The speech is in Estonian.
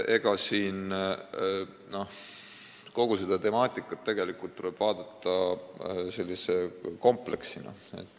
Kogu seda temaatikat tuleb vaadata kompleksina.